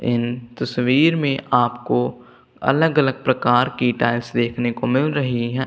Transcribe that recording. इन तस्वीर में आपको अलग अलग प्रकार की टाइल्स देखने को मिल रही है।